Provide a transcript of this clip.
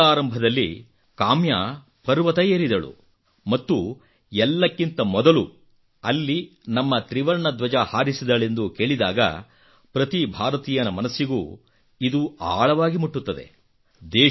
ಈ ತಿಂಗಳಾರಂಭದಲ್ಲಿ ಕಾಮ್ಯಾ ಪರ್ವತ ಏರಿದಳು ಮತ್ತು ಎಲ್ಲಕ್ಕಿಂತ ಮೊದಲು ಅಲ್ಲಿ ನಮ್ಮ ತ್ರಿವರ್ಣ ಧ್ವಜ ಹಾರಿಸಿದಳೆಂದು ಕೇಳಿದಾಗ ಪ್ರತಿ ಭಾರತೀಯನ ಮನಸ್ಸಿಗೂ ಇದು ಆಳವಾಗಿ ಮುಟ್ಟತ್ತದೆ